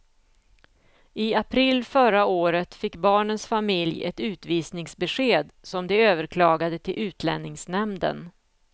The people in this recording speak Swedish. I april förra året fick barnens familj ett utvisningsbesked som de överklagade till utlänningsnämnden.